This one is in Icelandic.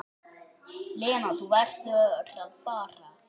Lena, þú verður að fara!